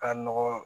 Ka nɔgɔ